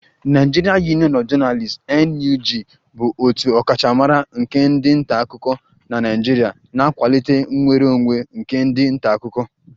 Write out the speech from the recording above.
Nigerian Union of Journalists (NUJ) bụ otu ọkachamara nke ndị nta akụkọ na Naịjirịa na-akwalite nnwere onwe nke ndị nta akụkọ